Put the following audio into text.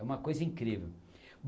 É uma coisa incrível.